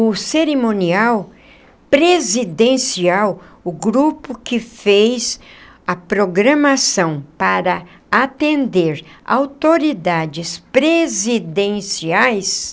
O cerimonial presidencial, o grupo que fez a programação para atender autoridades presidenciais,